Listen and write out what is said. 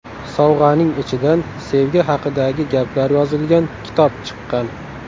Sovg‘aning ichidan sevgi haqidagi gaplar yozilgan kitob chiqqan.